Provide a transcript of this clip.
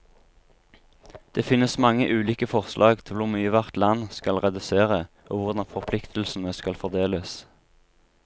Det finnes mange ulike forslag til hvor mye hvert land skal redusere, og hvordan forpliktelsene skal fordeles.